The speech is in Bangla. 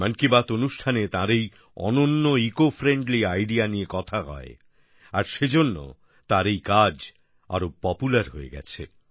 মন কি বাত অনুষ্ঠানে তার এই অনন্য ইকোফ্রেন্ডলি আইডিইএ নিয়ে কথা হয় আর সেজন্য তার এই কাজ আরো পপুলার হয়ে গেছে